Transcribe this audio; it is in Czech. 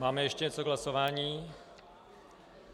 Máme ještě něco k hlasování.